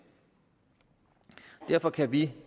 derfor kan vi